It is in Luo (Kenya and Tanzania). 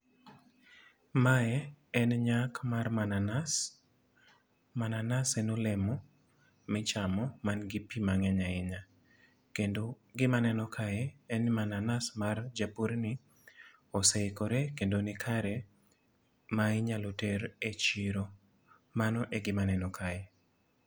Mae en nyak mar mananas. Mananas en olemo michamo, ma nigi pi mangény ahinya. Kendo gima aneno kae en ni mananas mar japurni oseikore kendo ni kare ma inyalo ter e chiro. Mano e gima aneno kae.